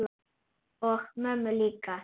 Og mömmu líka.